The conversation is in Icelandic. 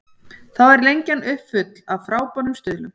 Þá er Lengjan uppfull af frábærum stuðlum.